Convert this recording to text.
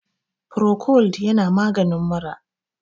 Procold yana maganin mura